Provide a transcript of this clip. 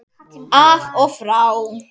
Af og frá.